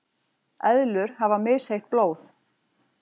eðlur hafa misheitt blóð